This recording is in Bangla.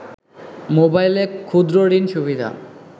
মোবাইলে ক্ষুদ্রঋণ সুবিধা